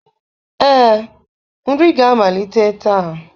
Ee, nri ga-amalite taa.